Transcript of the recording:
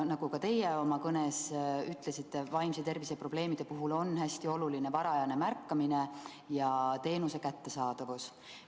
Nagu ka teie oma kõnes ütlesite, vaimse tervise probleemide puhul on hästi oluline varajane märkamine ja teenuse kättesaadavus.